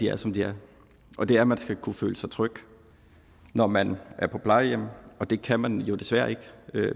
er som de er og det er at man skal kunne føle sig tryg når man er på plejehjem og det kan man jo desværre ikke